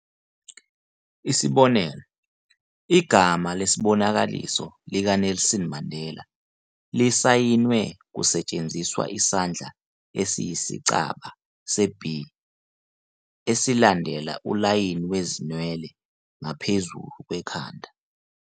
Isibonelo, igama lesibonakaliso likaNelson Mandela lisayinwe kusetshenziswa isandla esiyisicaba se-B "esilandela ulayini wezinwele ngaphezulu kwekhanda.